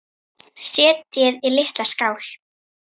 Setjið í litla skál.